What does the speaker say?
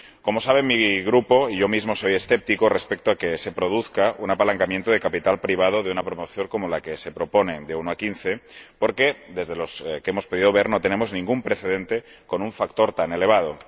Como saben, mi Grupo y yo mismo somos escépticos con respecto a que se produzca un apalancamiento de capital privado de una proporción como la que se propone, de 1 a 15, porque, por lo que hemos podido ver, no tenemos ningún precedente con un factor tan elevado.